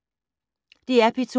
DR P2